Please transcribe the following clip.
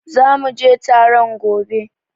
Zu muje taron gobe